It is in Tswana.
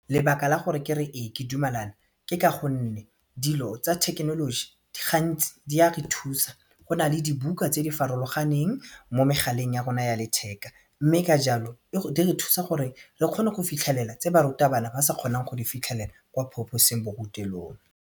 Lebaka la gore kere ee ke dumelana ke ka gonne dilo tsa thekenoloji gantsi di a re thusa go na le dibuka tse di farologaneng mo megaleng ya rona ya letheka mme ka jalo di re thusa gore re kgone go fitlhelela tse barutabana ba sa kgoneng go di fitlhelela ko phaposiborutelong.